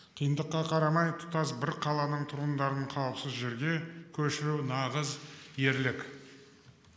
қиындыққа қарамай тұтас бір қаланың тұрғындарын қауіпсіз жерге көшіру нағыз ерлік